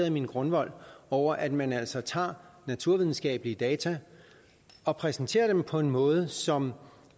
i min grundvold over at man altså tager naturvidenskabelige data og præsenterer dem på en måde som